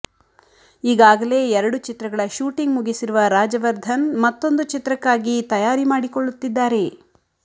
ಈಗಾಗಲೇ ಎರಡು ಚಿತ್ರಗಳ ಶೂಟಿಂಗ್ ಮುಗಿಸಿರುವ ರಾಜವರ್ಧನ್ ಮತ್ತೊಂದು ಚಿತ್ರಕ್ಕಾಗಿ ತಯಾರಿ ಮಾಡಿಕೊಳ್ಳುತ್ತಿದ್ದಾರೆ